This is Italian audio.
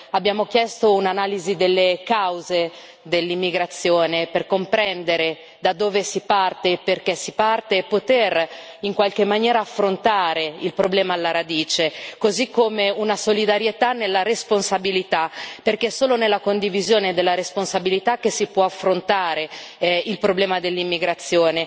Abbiamo chiesto un'analisi delle cause dell'immigrazione, per comprendere da dove si parte e perché si parte e poter, in qualche maniera, affrontare il problema alla radice, così come una solidarietà nella responsabilità, perché è solo nella condivisione della responsabilità che si può affrontare il problema dell'immigrazione,